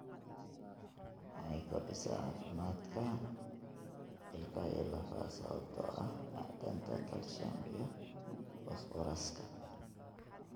Waxay kordhisaa caafimaadka ilkaha iyo lafaha sababtoo ah macdanta calcium iyo fosfooraska.